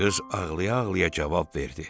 Qız ağlaya-ağlaya cavab verdi.